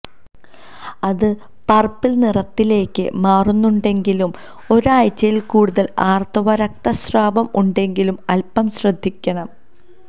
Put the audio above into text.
അത് പർപ്പിൾ നിറത്തിലേക്ക് മാറുന്നുണ്ടെങ്കിലും ഒരാഴ്ചയിൽ കൂടുതൽ ആർത്തവ രക്തസ്രാവം ഉണ്ടെങ്കിലും അൽപം ശ്രദ്ധിക്കണം